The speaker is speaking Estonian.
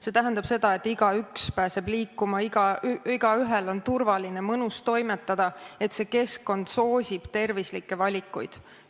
See tähendab seda, et igaüks pääseb liikuma, igaühel on turvaline ja mõnus toimetada, et see keskkond soosib tervislikke valikuid.